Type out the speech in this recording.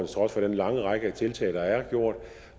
trods for den lange række af tiltag der er gjort